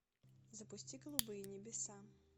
запусти голубые небеса